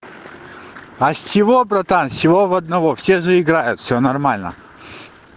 а с чего братан с чего в одного все же играют всё нормально